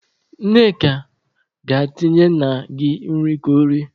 Nneka, gaa tinyere nna gị nri ka o rie!